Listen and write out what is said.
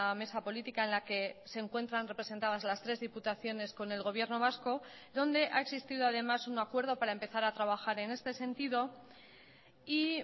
mesa política en la que se encuentran representadas las tres diputaciones con el gobierno vasco donde ha existido además un acuerdo para empezar a trabajar en este sentido y